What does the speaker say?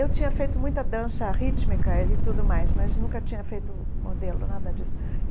Eu tinha feito muita dança rítmica e tudo mais, mas nunca tinha feito modelo, nada disso.